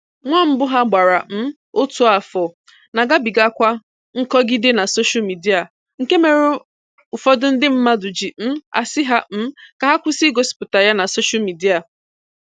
Nwa mbụ ha gbara um otu afọ na-agabigakwa nkọgide na soshial midịa, nke mere ụfọdụ ndị mmadụ ji um asị ha um ka ha kwụsi igosipụta ya na soshial midịa.